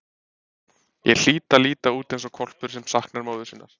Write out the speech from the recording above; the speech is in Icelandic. Ég hlýt að líta út eins og hvolpur sem saknar móður sinnar.